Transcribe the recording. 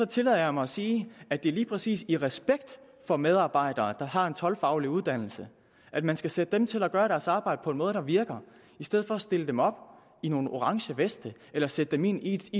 tillader jeg mig at sige at det lige præcis er i respekt for medarbejdere der har en toldfaglig uddannelse at man skal sætte dem til at gøre deres arbejde på en måde der virker i stedet for at stille dem op i nogle orange veste eller sætte dem ind i et